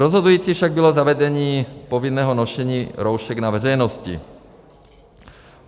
Rozhodující však bylo zavedení povinného nošení roušek na veřejnosti.